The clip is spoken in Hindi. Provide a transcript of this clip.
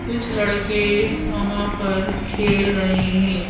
कुछ लड़के हंहां पर खेल रहे हैं।